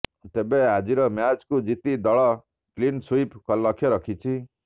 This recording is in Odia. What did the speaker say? ତେବେ ଆଜିର ମ୍ୟାଚକୁ ଜିତି ଦଳ କ୍ଲିନସୁଇପ୍ ଲକ୍ଷ୍ୟ ରଖିଛି